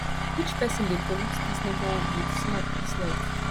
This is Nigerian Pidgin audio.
which person dey pollute dis neighborhood wit smoke dis night